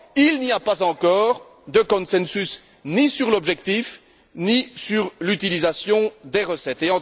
Il n'y a pas encore de consensus ni sur l'objectif, ni sur l'utilisation des recettes.